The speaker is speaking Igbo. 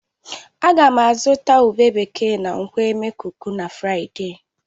Ága m azụta ube bekee na nkwọ̀ e. Emekuku na Fraịde